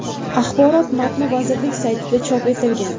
Axborot matni vazirlik saytida chop etilgan .